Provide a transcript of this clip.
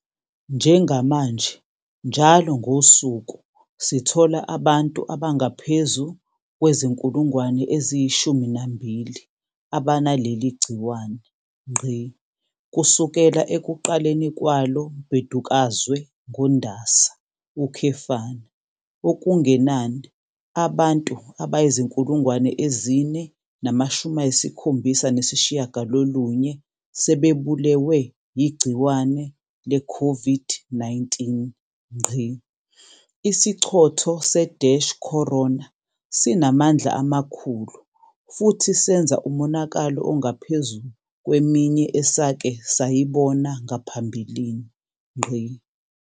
Njengamanje njalo ngosuku sithola abantu abangaphezu kwezi-12,000 abanaleli gciwane. Kusukela ekuqaleni kwalo mbhedukazwe ngoNdasa, okungenani abantu abayizi-4,079 sebebulewe yigciwane leCOVID-19. Isichotho se-corona sinamandla amakhulu futhi senza umonakalo ongaphezu kweminye esake sayibona ngaphambilini.